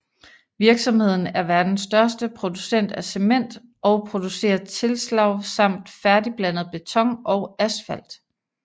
Virksomheden er verdens største producent af cement og producerer tilslag samt færdigblandet beton og asfalt